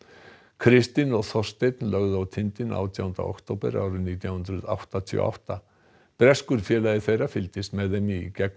kristinn og Þorsteinn lögðu á tindinn átjánda október árið nítján hundruð áttatíu og átta breskur félagi þeirra fylgdist með þeim í gegnum